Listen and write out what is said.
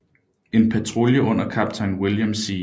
En patrulje under kaptajn William C